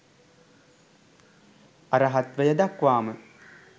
අරහත්වය දක්වාම